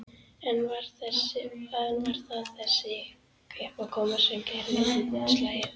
En var það þessi uppákoma sem gerði útslagið?